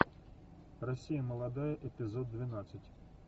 россия молодая эпизод двенадцать